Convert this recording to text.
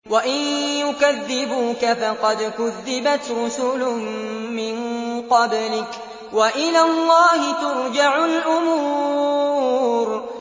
وَإِن يُكَذِّبُوكَ فَقَدْ كُذِّبَتْ رُسُلٌ مِّن قَبْلِكَ ۚ وَإِلَى اللَّهِ تُرْجَعُ الْأُمُورُ